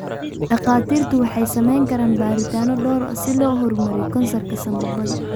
Dhakhaatiirtu waxay samayn karaan baadhitaano dhowr ah si loo horumariyo kansarka sanbabada.